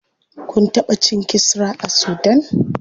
Kun taɓa cin kisra a sudan?